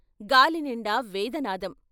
గాలి నిండా వేదనాదం.